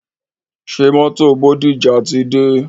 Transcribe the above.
Ṣé mótò Bódìjà ti dé?